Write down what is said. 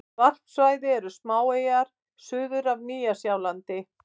Varpsvæði eru smáeyjar suður af Nýja-Sjálandi.